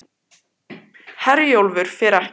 Herjólfur fer ekki